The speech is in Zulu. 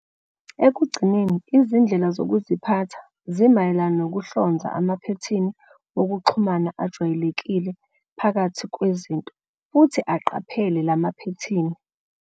Ekugcineni, izindlela zokuziphatha zimayelana nokuhlonza amaphethini wokuxhumana ajwayelekile phakathi kwezinto futhi aqaphele lamaphethini.